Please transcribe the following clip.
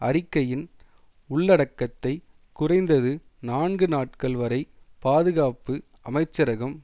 அறிக்கையின் உள்ளடக்கத்தை குறைந்தது நான்கு நாட்கள் வரை பாதுகாப்பு அமைச்சரகம்